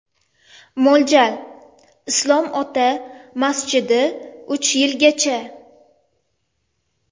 Mo‘ljal: Islom Ota masjidi Uch yilgacha.